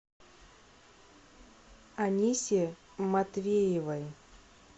анисе матвеевой